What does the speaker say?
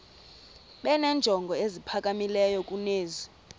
benenjongo eziphakamileyo kunezi